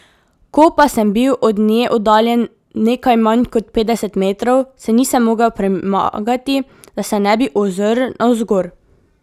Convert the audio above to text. Ko pa sem bil od nje oddaljen nekaj manj kot petdeset metrov, se nisem mogel premagati, da se ne bi ozrl navzgor.